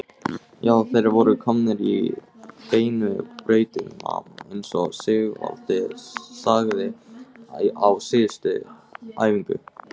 Já, þeir voru komnir á beinu brautina eins og Sigvaldi sagði á síðustu æfingu.